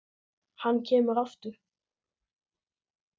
Hann kemur ekki aftur.